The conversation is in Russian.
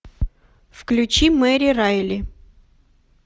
включи мэри райли